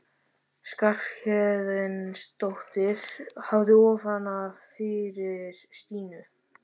Skarphéðinsdóttir hafði ofan af fyrir Stínu.